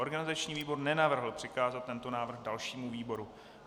Organizační výbor nenavrhl přikázat tento návrh dalšímu výboru.